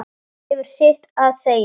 Hún hefur sitt að segja.